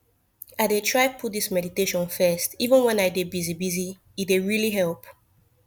i dey try put this meditation first even when i dey busy busy e dey really help